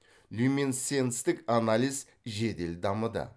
люминесценттік анализ жедел дамыды